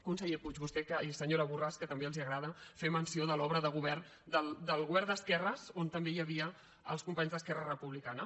conseller puig i senyora borràs que també els agrada fer menció de l’obra de govern del govern d’esquerres on també hi havia els companys d’esquerra republicana